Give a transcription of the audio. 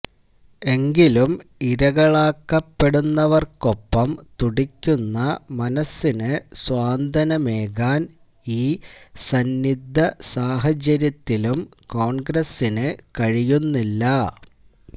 എങ്കിലും ഇരകളാക്കപ്പെടുന്നവര്ക്കൊപ്പം തുടിക്കുന്ന മനസ്സിന് സാന്ത്വനമേകാന് ഈ സന്നിദ്ധസാഹചര്യത്തിലും കോണ്ഗ്രസിന് കഴിയുന്നില്ല